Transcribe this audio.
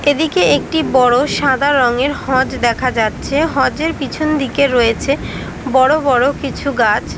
এদিকে একটি বড় সাদা রঙের হজ দেখা যাচ্ছে। হজের পিছন দিকে রয়েছে বড় বড় কিছু গাছ।